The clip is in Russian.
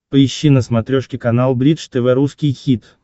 поищи на смотрешке канал бридж тв русский хит